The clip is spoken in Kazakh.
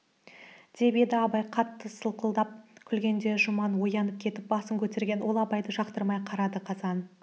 деп еді абай қатты сылқылдап күлгенде жұман оянып кетіп басын көтерген ол абайды жақтырмай қарады қазан